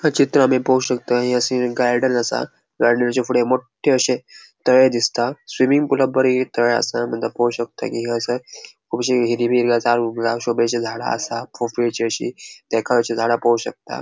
ये चित्र आमी पो शकता या सिनिन गार्डन असा गार्डनच्या फुड़े मोट्टे अशे तळे दिसता स्विमिंग पूला बरे ये तळे आसा तेंका पोळो शकता कि ह्ये आसा कुबशी हिरवी हिला जांग जा शोभेची झाडा असा पोफ़ळेचि अशी तेका अशी झाडा पोळो शकता.